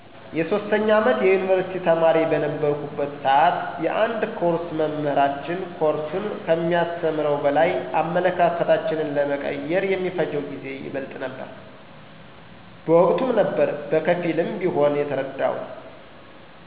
የ3ኛ አመት የዩኒቭርሲቲ ተማሪ በነበረሁበት ስዓት የአንድ ኮርስ መምህራችን ኮርሱን ከሚያስተምረው በላይ አመለካከታችን ለመቀየር የሚፈጀው ጊዜ ይበልጥ ነበረ። በወቅቱም ነበር በከፊልም ቢሆን የተረደሁት።